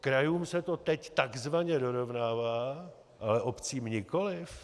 Krajům se to teď takzvaně dorovnává, ale obcím nikoliv?